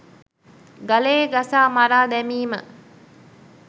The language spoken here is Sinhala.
ගලේ ගසා මරා දැමීම